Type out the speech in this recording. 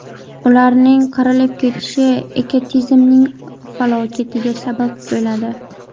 Ularning qirilib ketishi ekotizimning falokatiga sabab bo‘ladi.